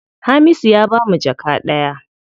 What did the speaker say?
Hamisu ya bamu jaka ɗaya.